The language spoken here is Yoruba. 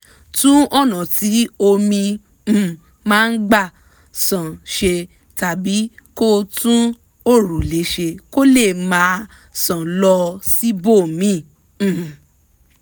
tún ọ̀nà tí omi um máa gbà ṣàn ṣe tàbí kó tún òrùlé ṣe kó lè máa ṣàn lọ síbòmíì um